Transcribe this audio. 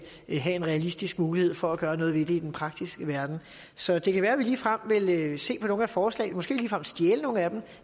have en realistisk mulighed for at gøre noget ved det i den praktiske verden så det kan være at vi ligefrem vil se på nogle af forslagene måske ligefrem stjæle nogle af dem